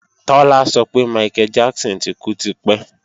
Tọ́lá sọ pé Michael Jackson ti kú tipẹ́